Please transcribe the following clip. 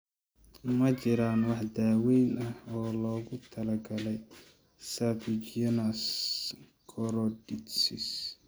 Ma jiraan wax daawayn ah oo loogu talagalay serpiginous choroiditis?